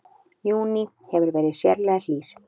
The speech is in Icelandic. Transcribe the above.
Júní hefur verið sérlega hlýr